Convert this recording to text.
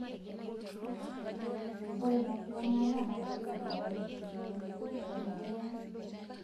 Ore ena kiwuangata naa keidim ayau enkiti mion nikintanyamal.